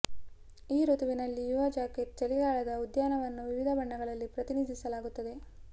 ಈ ಋತುವಿನಲ್ಲಿ ಯುವ ಜಾಕೆಟ್ ಚಳಿಗಾಲದ ಉದ್ಯಾನವನ್ನು ವಿವಿಧ ಬಣ್ಣಗಳಲ್ಲಿ ಪ್ರತಿನಿಧಿಸಲಾಗುತ್ತದೆ